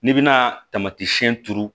N'i bɛna tamatisiyɛn turu